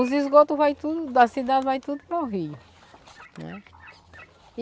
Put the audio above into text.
Os esgotos vai tudo, da cidade vai tudo para o rio, né.